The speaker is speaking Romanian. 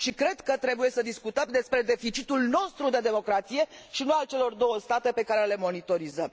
Și cred că trebuie să discutăm despre deficitul nostru de democrație, și nu al celor două state pe care le monitorizăm.